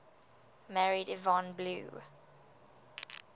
married yvonne blue